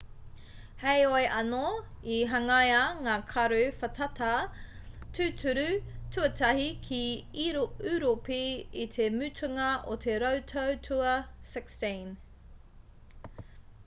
heoi anō i hangaia ngā karu whātata tūturu tuatahi ki ūropi i te mutunga o te rautau tua 16